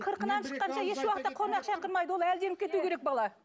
қырқынан шыққанша еш уақытта қонақ шақырмайды ол әлденіп кету керек бала